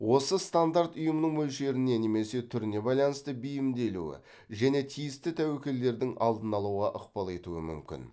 осы стандарт ұйымның мөлшеріне немесе түріне байланысты бейімделуі және тиісті тәуекелдердің алдын алуға ықпал етуі мүмкін